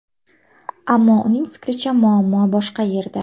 Ammo uning fikricha muammo boshqa yerda.